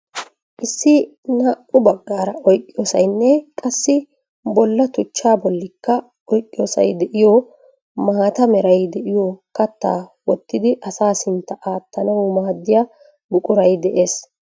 Issi naa"u baggaara oyqqiyoosaynne qassi bolla tuchchaa bollikka oyqqiyoosay de'iyo maata meray de'iyo kattaa wottidi asaa sintta aattanaaw maaddiyaa buquray de'ees.